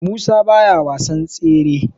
Musa baya wasan tsere